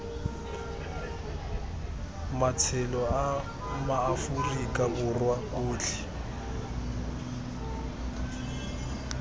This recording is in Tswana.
matshelo a maaforika borwa otlhe